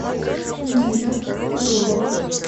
нина дулова